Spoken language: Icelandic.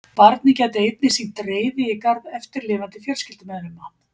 Barnið gæti einnig sýnt reiði í garð eftirlifandi fjölskyldumeðlima.